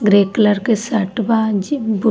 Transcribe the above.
grey colour के shirt बा जे ब्लू --